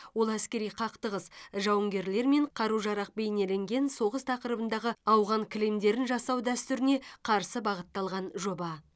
ол әскери қақтығыс жауынгерлер мен қару жарақ бейнеленген соғыс тақырыбындағы ауған кілемдерін жасау дәстүріне қарсы бағытталған жоба